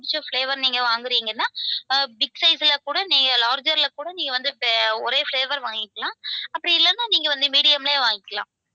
புடிச்ச flavour நீங்க வாங்குறீங்கன்னா big size ல கூட larger ல கூட நீங்க வந்து ஒரே flavour வாங்கிக்கலாம் அப்படி இல்லேன்னா நீங்க வந்து medium லையே வாங்கிக்கலாம்.